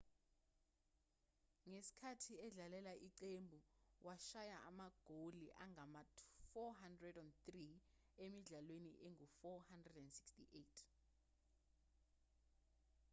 ngesikhathi edlalela iqembu washaya amagoli angama-403 emidlalweni engu-468